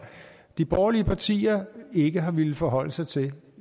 de borgerlige partier ikke har villet forholde sig til